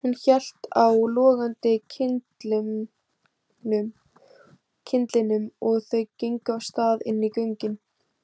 Hún hélt á logandi kyndlinum og þau gengu af stað inn í göngin.